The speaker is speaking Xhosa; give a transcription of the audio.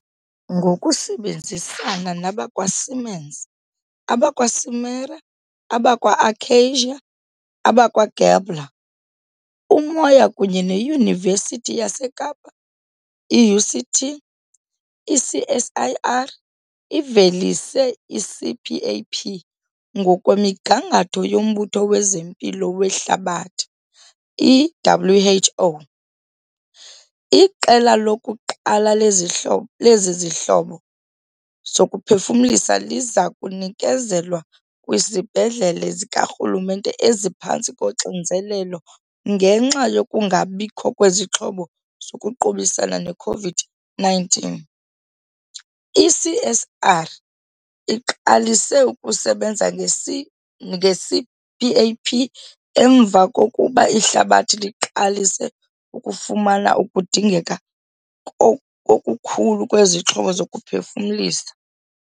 Ngokusebenzisana nabakwa-Siemens, abakwa-Simera, abakwa-Akacia, abakwa-Gabler, Umoya kunye neYunivesithi yaseKapa, i-UCT, i-CSIR ivelise i-CPAP, ngokwemigangatho yoMbutho wezeMpilo weHlabathi i-WHO. Iqela lokuqala lezi zihlobo lezi zihlobo zokuphefumlisa liza kunikezelwa kwizibhedlele zikarhulumente eziphantsi koxinzelelo ngenxa yokungabikho kwezixhobo zokuqubisana ne-COVID-19. I-CSIR iqalise ukusebenza nge-C nge-CPAP emva kokuba ihlabathi liqalise ukufumana ukudingeka okukhulu kwezixhobo zokuphefumlisa.